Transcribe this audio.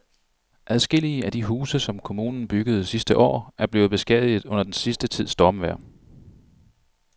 Adskillige af de huse, som kommunen byggede sidste år, er blevet beskadiget under den sidste tids stormvejr.